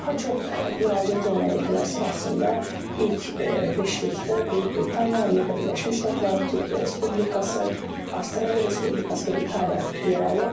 Daha çox müraciət olunan ölkələr sırasında ilk beşlikdə Böyük Britaniya, Amerika Birləşmiş Ştatları, Türkiyə Respublikası, Avstraliya Respublikası və İtaliya yer alır.